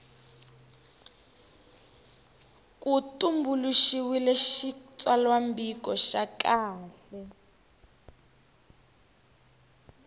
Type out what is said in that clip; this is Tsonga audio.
ku tumbuluxiwile xitsalwambiko xa kahle